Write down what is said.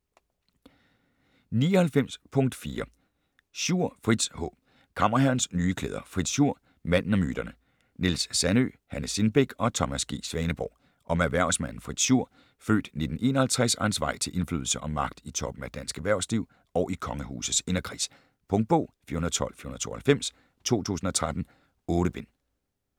99.4 Schur, Fritz H. Kammerherrens nye klæder: Fritz Schur - manden og myterne Niels Sandøe, Hanne Sindbæk og Thomas G. Svaneborg Om erhvervsmanden Fritz Schur (f. 1951) og hans vej til indflydelse og magt i toppen af dansk erhvervsliv og i kongehusets inderkreds. Punktbog 412492 2013. 8 bind.